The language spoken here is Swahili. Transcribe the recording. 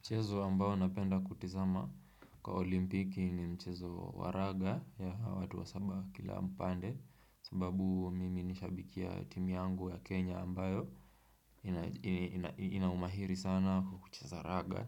Mchezo ambao napenda kutizama kwa olimpiki ni mchezo wa raga ya watu wasaba kila mpande sababu mimi nishabikia timu yangu ya Kenya ambayo ina umahiri sana kwa kucheza raga